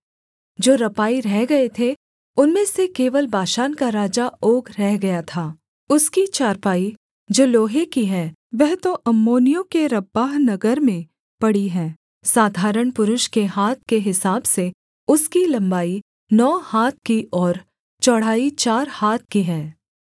जो रपाई रह गए थे उनमें से केवल बाशान का राजा ओग रह गया था उसकी चारपाई जो लोहे की है वह तो अम्मोनियों के रब्बाह नगर में पड़ी है साधारण पुरुष के हाथ के हिसाब से उसकी लम्बाई नौ हाथ की और चौड़ाई चार हाथ की है